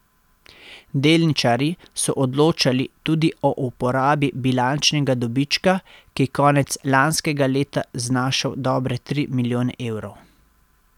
Delničarji so odločali tudi o uporabi bilančnega dobička, ki je konec lanskega leta znašal dobre tri milijone evrov.